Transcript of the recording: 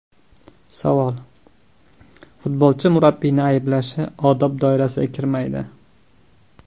Savol: Futbolchi murabbiyni ayblashi odob doirasiga kirmaydi?!